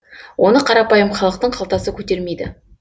оны қарапайым халықтың қалтасы көтермейді